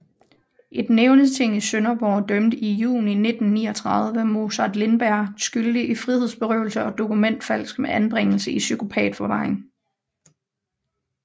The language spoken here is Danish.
Et nævningeting i Sønderborg dømte i juni 1939 Mozart Lindberg skyldig i frihedsberøvelse og dokumentfalsk med anbringelse i psykopatforvaring